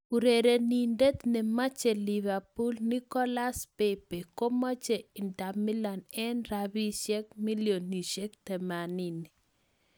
Urerenindet nemache Liverpool Nicolas Pepe komoche Inter Milan eng rabisie milionisiek 80.